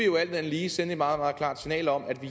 jo alt andet lige sende et meget meget klart signal om at vi